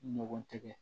Ɲɔgɔn tɛgɛ